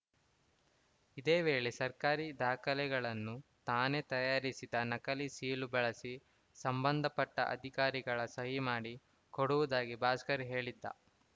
ಇದೇ ವೇಳೆ ಸರ್ಕಾರಿ ದಾಖಲೆಗಳನ್ನು ತಾನೇ ತಯಾರಿಸಿದ ನಕಲಿ ಸೀಲು ಬಳಸಿ ಸಂಬಂಧಪಟ್ಟಅಧಿಕಾರಿಗಳ ಸಹಿ ಮಾಡಿ ಕೊಡುವುದಾಗಿ ಭಾಸ್ಕರ್‌ ಹೇಳಿದ್ದ